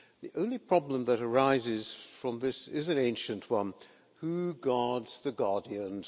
The only problem that arises from this is an ancient one who guards the guardians?